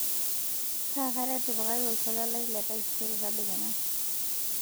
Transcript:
kaakata etipikaki oltuala lai letaisere tedekenya